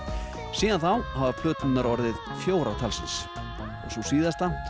síðan þá hafa plöturnar orðið fjórar talsins og sú síðasta